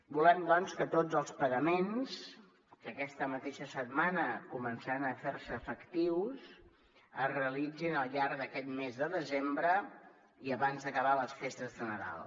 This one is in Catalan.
volem doncs que tots els pagaments que aquesta mateixa setmana començaran a fer se efectius es realitzin al llarg d’aquest mes de desembre i abans d’acabar les festes de nadal